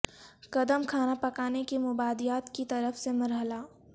قدم کھانا پکانے کی مبادیات کی طرف سے مرحلہ